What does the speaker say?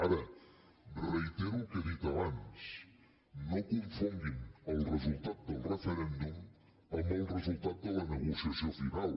ara reitero el que he dit abans no confonguin el resultat del referèndum amb el resultat de la negociació final